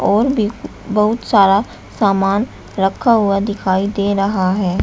और भी बहुत सारा सामान रखा हुआ दिखाई दे रहा है।